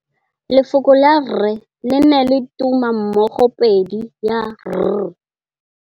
Lefoko la rre le na le tumammogôpedi ya, r.